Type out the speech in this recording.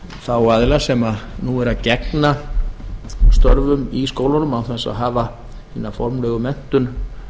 þá aðila sem nú eru að gegna stöfum í skólunum án þess að hafa hina formlegu menntun